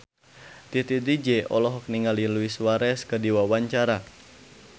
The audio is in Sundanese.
Titi DJ olohok ningali Luis Suarez keur diwawancara